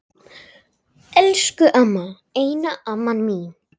Elsku amma, eina amma mín.